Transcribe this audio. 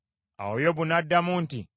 Awo Yobu n’addamu nti,